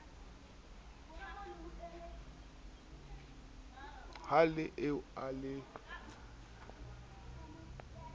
le ha eo a ne